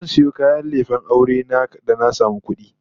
Zan sayo kayan lefen aure na da na samu kudi